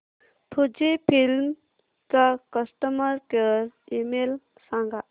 Fujifilm चा customer care email सांगा